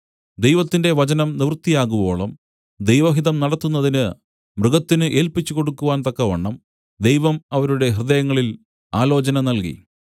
ദൈവത്തിന്റെ വചനം നിവൃത്തിയാകുവോളം ദൈവഹിതം നടത്തുന്നതിന് മൃഗത്തിനു ഏല്പിച്ചുകൊടുക്കുവാൻ തക്കവണ്ണം ദൈവം അവരുടെ ഹൃദയങ്ങളിൽ ആലോചന നൽകി